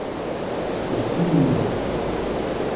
спаси меня